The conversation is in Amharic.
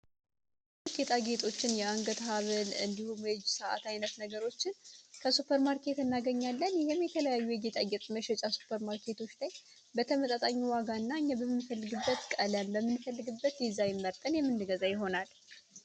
ጌጣጌጦችን የአንገት ሀብሎች ከሱበርማርኬት እናገኛለን ይሄም በተለያዩ የጌጣጌጥ ሱፐርማርኬቶች ላይ በተመጣጣኝ ዋጋ እና እኛ በምንፈልገው ቀለም ፣በምንፈልገው ዲዛይን መርጠን የምንገዛ ይሆናል።